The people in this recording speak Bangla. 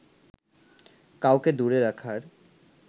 কাউকে দূরে রাখার